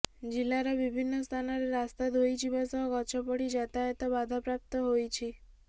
ଜିଲ୍ଲାର ବିଭିନ୍ନ ସ୍ଥାନରେ ରାସ୍ତା ଧୋଇଯିବା ସହ ଗଛ ପଡି ଯାତାୟତ ବାଧାପ୍ରାପ୍ତ ହୋଇଛି